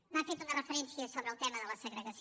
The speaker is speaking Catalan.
m’ha fet una referència sobre el tema de la segregació